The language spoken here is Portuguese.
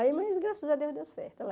Aí, mas graças a Deus deu certo. Ela